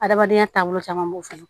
Adamadenya taabolo caman b'o fana